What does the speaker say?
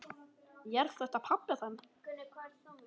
Er þetta pabbi þinn?